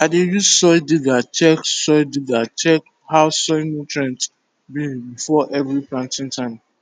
i dey use soil digger check soil digger check how soil nutrient be before every planting time